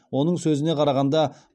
оның сөзіне қарағанда